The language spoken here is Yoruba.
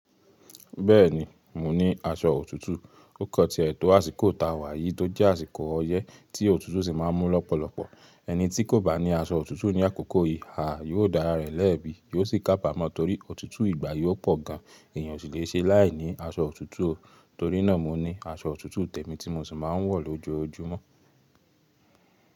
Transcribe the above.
Bẹ́ẹ̀ni, mo ní aṣọ òtútù. Ó kọ ti etò àsìkò táa wà yìí tó jẹ́ àsìkò ọyẹ́ tí òtútù sì máa ń mú lọ́pọ̀lọpọ̀. Ẹni tí kò bá ní aṣọ òtútù ní àkókò yìí, àà yóò dára rẹ̀ lẹ́bi, yóò sì kábàmọ́ torí òtútù ìgbà yóò pọ̀ gan. Èèyàn o sì le ṣe láìní aṣọ òtútù. Torí náà mo ní aṣọ òtútù tèmi tí mo sì máa ń wọ̀ lójoojúmọ́.